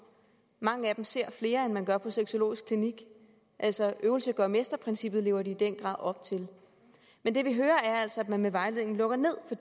mange af dem ser flere end man gør på sexologisk klinik altså øvelse gør mester princippet lever de i den grad op til men det vi hører er altså at man med vejledningen lukker ned for